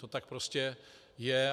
To tak prostě je.